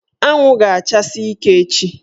Anwụ ga-achasi ike echi